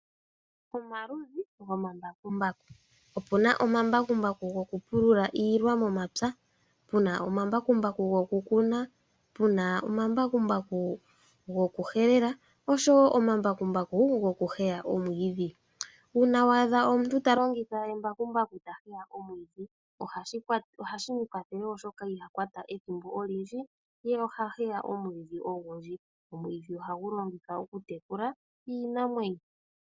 Omaludhi gomambakumbaku, opu na omambakumbaku gokupulula iilwa momapya, pu na omambakumbaku gokukuna, pu na omambakumbaku gokuhelela osho wo omambakumbaku gokuheya omwiidhi. Uuna wa adha omuntu ta longitha embakumbaku ta heya omwiidhi, ohashi mu kwathele wo oshoka iha kwata ethimbo olindji, ye oha heya omwiidhi owundji. Omwiidhi ohawu longithwa okutekula iinamwenyo.